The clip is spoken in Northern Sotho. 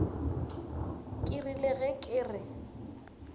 ke rile ge ke re